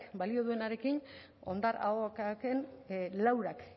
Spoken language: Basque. baino duenarekin hondar ahoaken laurak